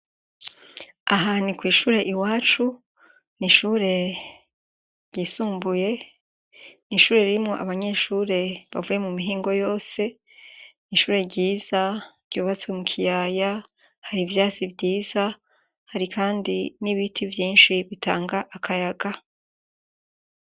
Aha ni kw'ishur' iwacu n' ishure ry'isumbuye, n'ishure ririmw' abanyeshure bavuye mu mihingo yose, ishure ryiza ryubatse mu kiyaya, har'ivyatsi vyiza, hari kandi n' ibiti vyinshi bitanga akayaga.